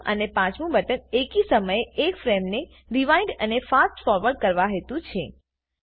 ચોથું અને પાંચમુ બટન એકી સમયે એક ફ્રેમને રીવાઇન્ડ અને ફાસ્ટ ફોરવર્ડ કરવા હેતુ છે